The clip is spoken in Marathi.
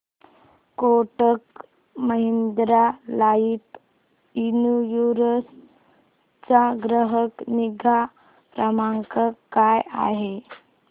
कोटक महिंद्रा लाइफ इन्शुरन्स चा ग्राहक निगा क्रमांक काय आहे